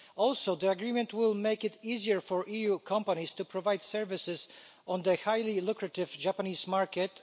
Also, the agreement will make it easier for EU companies to provide services on the highly lucrative Japanese market.